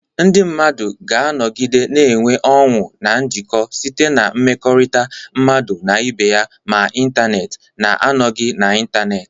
Ndị mmadụ ga-anọgide na-enweta ọṅụ na njikọ site na mmekọrịta mmadụ na ibe ya, ma n'ịntanetị na-anọghị n'ịntanetị.